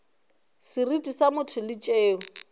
seriti sa motho le tšeo